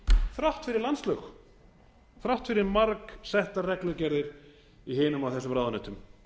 þrátt fyrir landslög þrátt fyrir margsettar reglugerðir í hinum og þessum ráðuneytum